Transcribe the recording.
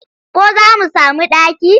Ko za mu sami ɗaki?